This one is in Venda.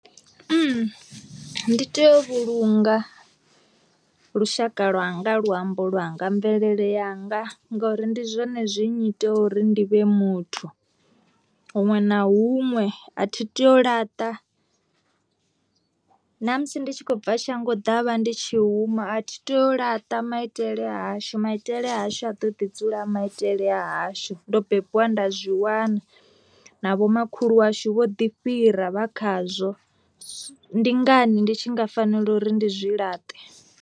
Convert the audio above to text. Ndi tea u vhulunga lushaka lwanga luambo lwanga mvelele yanga ngori ndi zwone zwi nnyita uri ndi vhe muthu, huṅwe na huṅwe a thi tei u laṱa, na musi ndi tshi khou bva shango ḓavha ndi tshi huma a thi tei u laṱa maitele a hashu maitele ashu a ḓo ḓi dzula maitele a hashu ndo bebiwa nda zwi wana na vhomakhulu washu vho ḓi fhira vha khazwo, ndi ngani ndi tshi nga fanela uri ndi zwi laṱe.